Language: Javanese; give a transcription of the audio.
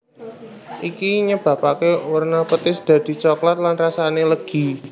Iki nyebapaké werna petis dadi coklat lan rasané legi